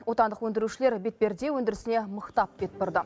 отандық өндірушілер бетперде өндірісіне мықтап бет бұрды